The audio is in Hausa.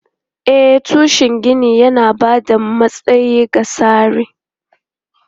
E, tushen ginin yana ba da matsayi ga tsarin.